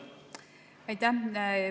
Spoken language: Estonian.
Aitäh!